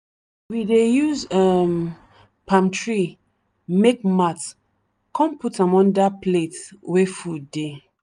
we dey use um palm tree make mat kon put am under plate wey food dey.